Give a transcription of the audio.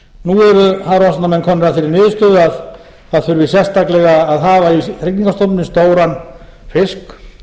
hafrannsóknamenn komnir að þeirri niðurstöðu að það þurfi sérstaklega að hafa í hrygningarstofninum stóran fisk